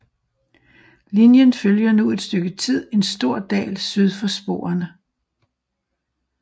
Linjen følger nu et stykke tid en stor dal syd for sporene